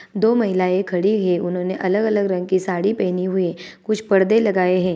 दो महिलाएँ खड़ी हुई है उन्होंने अलग-अलग रंग की साड़ी पहनी हुई है कुछ परदे लगाए है।